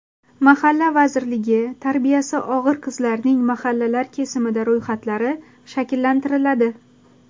Mahalla vazirligi: Tarbiyasi og‘ir qizlarning mahallalar kesimida ro‘yxatlari shakllantiriladi.